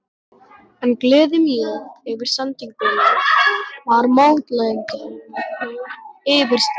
En gleði mín yfir sendingunni var mótlætinu yfirsterkari.